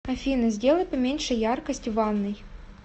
афина сделай поменьше яркость в ванной